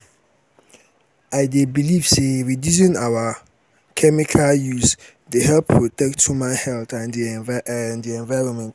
i um dey believe say reducing our um chemical use dey help protect human health and di um environment.